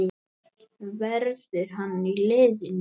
Verður hann í liðinu?